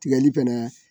Tigɛli fɛnɛ